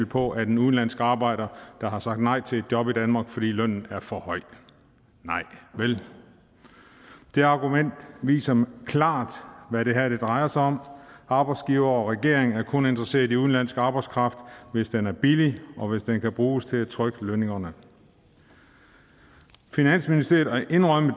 på at en udenlandsk arbejder har sagt nej til et job i danmark fordi lønnen er for høj nej vel det argument viser klart hvad det her drejer sig om arbejdsgivere og regering er kun interesseret i udenlandsk arbejdskraft hvis den er billig og hvis den kan bruges til at trykke lønningerne finansministeriet har indrømmet